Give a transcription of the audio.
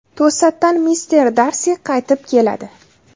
To‘satdan mister Darsi qaytib keladi.